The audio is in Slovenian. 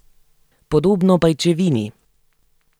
Podobno pajčevini.